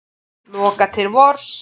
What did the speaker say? Loka til vors